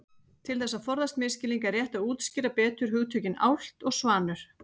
Til þess að forðast misskilning er rétt að útskýra betur hugtökin álft og svanur.